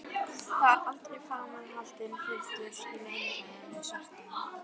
Það var aldrei framar haldinn fundur í Leynifélaginu svarta höndin.